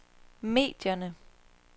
medierne